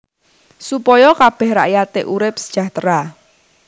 Supaya kabèh rakyaté urip sejahtera